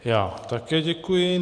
Já také děkuji.